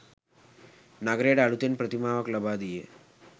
නගරයට අලුතෙන් ප්‍රතිමාවක් ලබා දී